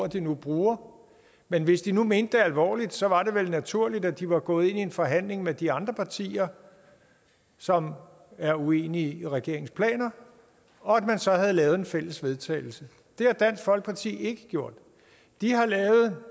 de nu bruger men hvis de nu mente det alvorligt så var det vel naturligt at de var gået ind i en forhandling med de andre partier som er uenige i regeringens planer og at man så havde lavet et fælles vedtagelse det har dansk folkeparti ikke gjort de har lavet